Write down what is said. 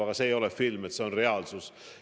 Aga see ei ole film, see on reaalsus.